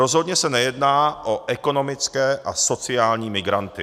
Rozhodně se nejedná o ekonomické a sociální migranty.